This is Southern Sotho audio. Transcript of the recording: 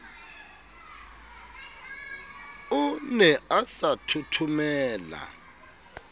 o ne a sa thothomele